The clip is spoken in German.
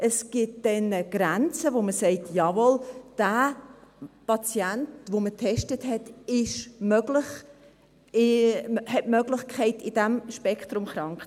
Es gibt Grenzen, wo man sagt: Jawohl, bei diesem Patienten, den man getestet hat, ist es möglich, dass er in diesem Spektrum krank ist.